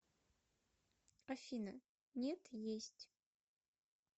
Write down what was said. афина нет есть